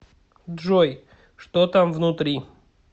джой что там внутри